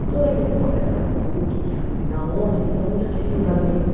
E todo aquele pessoal que era da Puc, que era não sei da onde, eu fui a única que fiz lá dentro.